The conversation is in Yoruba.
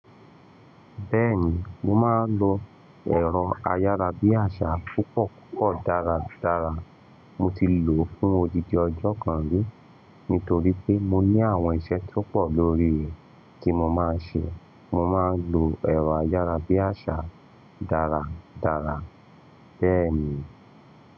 Bẹ́ẹ̀ni, mo máa ń lo ẹ̀rọ ayárabíàṣá púpọ̀ púpọ̀ dáradára. Mo ti lò ó fún odindi ọjọ́ kan rí, nítorí pé mo ní àwọn iṣẹ́ tó pọ̀ lórí rè, tí mo máa ń ṣe. Mo máa ń lo ẹ̀rọ ayárabíàṣá dáradára, bẹ́ẹ̀ ni.